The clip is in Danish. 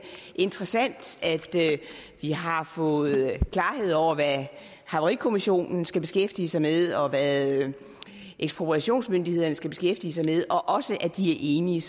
interessant at vi har fået klarhed over hvad havarikommissionen skal beskæftige sig med og hvad ekspropriationsmyndighederne skal beskæftige sig med og også at de er enige